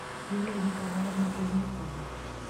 юлия николаевна позднякова